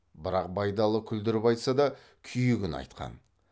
бірақ байдалы күлдіріп айтса да күйігін айтқан